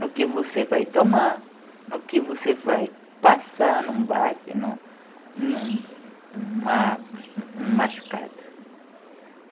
No que você vai tomar, no que você vai passar em um baque, em um em um em uma em uma machucado.